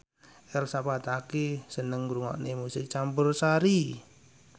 Elsa Pataky seneng ngrungokne musik campursari